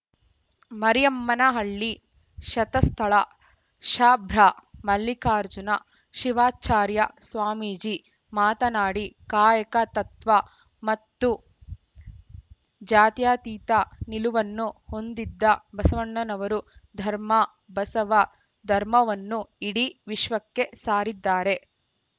ಮರಿಯಮ್ಮನಹಳ್ಳಿ ಶತಸ್ಥಳ ಶಭ್ರಮಲ್ಲಿಕಾರ್ಜುನ ಶಿವಾಚಾರ್ಯ ಸ್ವಾಮೀಜಿ ಮಾತನಾಡಿ ಕಾಯಕ ತತ್ವ ಮತ್ತು ಜಾತ್ಯಾತೀತ ನಿಲುವನ್ನು ಹೊಂದಿದ್ದ ಬಸವಣ್ಣನವರು ಧರ್ಮ ಬಸವ ಧರ್ಮವನ್ನು ಇಡೀ ವಿಶ್ವಕ್ಕೆ ಸಾರಿದ್ದಾರೆ